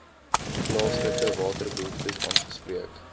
plaaslike waterbehoeftes aangespreek